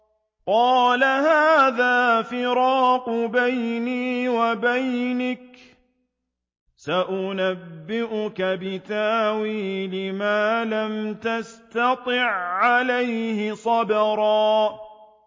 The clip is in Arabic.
قَالَ هَٰذَا فِرَاقُ بَيْنِي وَبَيْنِكَ ۚ سَأُنَبِّئُكَ بِتَأْوِيلِ مَا لَمْ تَسْتَطِع عَّلَيْهِ صَبْرًا